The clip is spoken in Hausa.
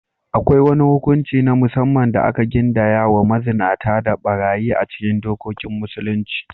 Akwai wani hukunci na musamman da aka gindaya wa mazinata da ɓarayi a cikin dokokin Musulunci.